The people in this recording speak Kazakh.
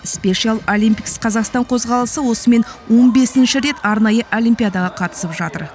спешиал олимпикс қазақстан қозғалысы осымен он бесінші рет арнайы олимпиадаға қатысып жатыр